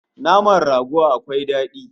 Naman rago akwai dadi